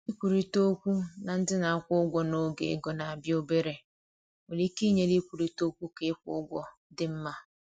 Ikwurịta okwu na ndị na-akwụ ụgwọ n’oge ego na-abịa obere nwere ike inyere ịkwurịta okwu ka ịkwụ ụgwọ dị mma.